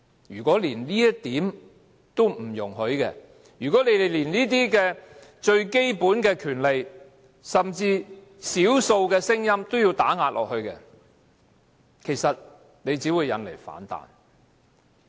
如果連這一點也不容許，連這些最基本的權利，甚至是少數的聲音也要打壓，其實只會引來反彈。